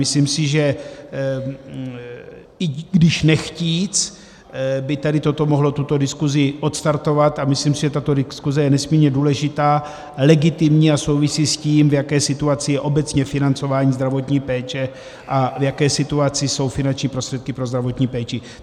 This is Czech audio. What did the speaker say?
Myslím si, že i když nechtíc, by tady toto mohlo tuto diskusi odstartovat, a myslím si, že tato diskuse je nesmírně důležitá, legitimní a souvisí s tím, v jaké situaci je obecně financování zdravotní péče a v jaké situaci jsou finanční prostředky pro zdravotní péči.